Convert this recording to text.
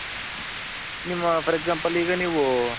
ನಿಮ್ಮ for example ಈಗ ನೀವು